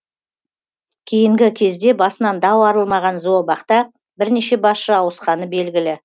кейінгі кезде басынан дау арылмаған зообақта бірнеше басшы ауысқаны белгілі